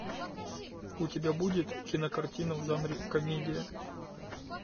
у тебя будет кинокартина в жанре комедия